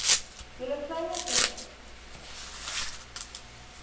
julle kleiner eenhede